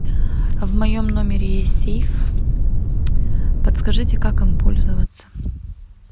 в моем номере есть сейф подскажите как им пользоваться